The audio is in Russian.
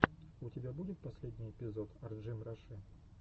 у тебя будет последний эпизод арджимраши